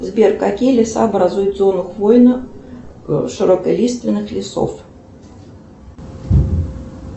сбер какие леса образуют зону хвойно широколиственных лесов